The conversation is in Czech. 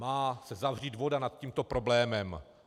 Má se zavřít voda nad tímto problémem.